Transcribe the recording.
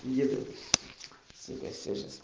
если связь